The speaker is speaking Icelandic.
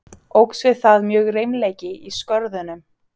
Óx við það mjög reimleiki í Skörðunum.